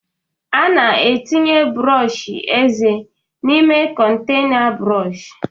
A na-etinye brọsh eze n'ime kontaịna brọsh.